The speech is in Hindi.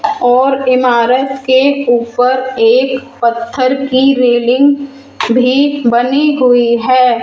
और इमारत के ऊपर एक पत्थर की रेलिंग भी बनी हुई है।